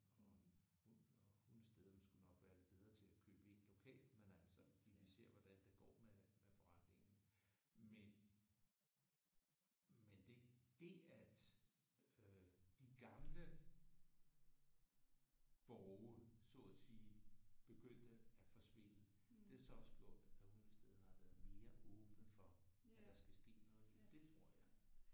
Og hundestederne skulle nok være lidt bedre til at købe ind lokalt men altså fordi vi ser hvordan det går med med forretningerne men men det det at øh de gamle borge så at sige begyndte at forsvinde det har så også gjort at Hundestederne har været mere åbne overfor at der skal ske noget nyt. Det tror jeg